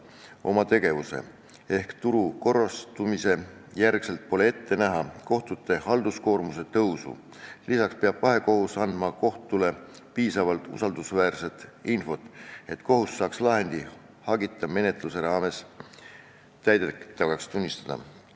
Pole alust arvata, et turu korrastumise järel kohtute halduskoormus kasvab, lisaks peab vahekohus andma kohtule piisavalt usaldusväärset infot, et kohus saaks lahendi hagita menetluse raames täidetavaks tunnistada.